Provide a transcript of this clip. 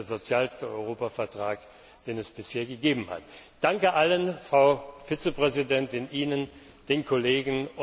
Das ist der sozialste Europavertrag, den es bisher gegeben hat! Danke allen, Frau Vizepräsidentin, Ihnen, den Kollegen!